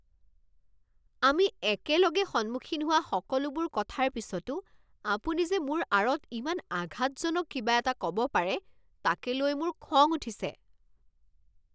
আমি একেলগে সন্মুখীন হোৱা সকলোবোৰ কথাৰ পিছতো আপুনি যে মোৰ আঁৰত ইমান আঘাতজনক কিবা এটা ক'ব পাৰে তাকে লৈ মোৰ খং উঠিছে।